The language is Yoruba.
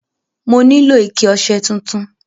Mo nílò ike ọṣẹ tuntun.